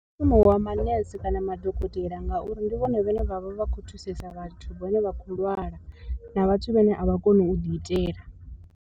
Mushumo wa manese kana madokotela ngauri ndi vhone vhane vhavha vha khou thusesa vhathu vhane vha khou lwala na vhathu vhane a vha koni u ḓi itela.